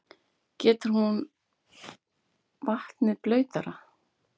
Gerir hún vatnið blautara?